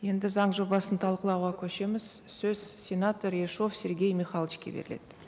енді заң жобасын талқылауға көшеміз сөз сенатор ершов сергей михайловичке беріледі